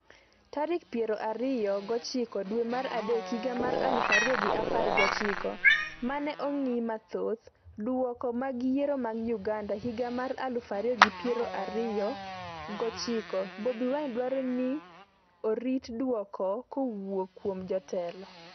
tarik piero ariyo gochiko dwe mar adek higa mar aluf ariyo gi apar gochiko. Mane ong'i Mathoth . Duoko mag Yiero mag Uganda higa mar aluf ariyo gi piero ariyo gochiko: Bobi Wine dwaro ni ji orit duoko kowuok kuom jotelo